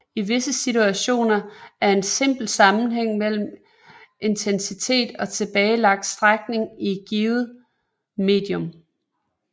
I visse situationer er der en simpel sammenhæng mellem intensitet og tilbagelagt strækning i et givet medium